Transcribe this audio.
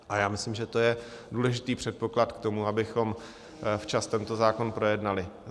A já myslím, že to je důležitý předpoklad k tomu, abychom včas tento zákon projednali.